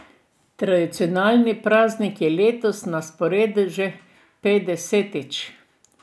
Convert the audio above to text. Tradicionalni praznik je letos na sporedu že petdesetič.